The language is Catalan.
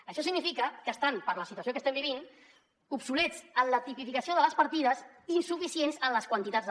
això significa que estan per la situació que estem vivint obsolets en la tipificació de les partides insuficients en les seves quantitats